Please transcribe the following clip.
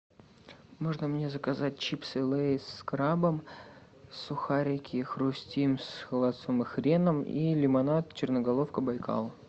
можно мне заказать чипсы лэйс с крабом сухарики хрустим с холодцом и хреном и лимонад черноголовка байкал